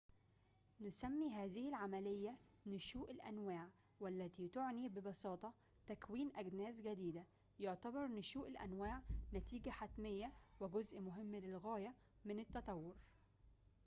نسمي هذه العملية نشوء الأنواع والتي تعني ببساطة تكوين أجناس جديدة يعتبر نشوء الأنواع نتيجة حتمية وجزء مهم للغاية من التطور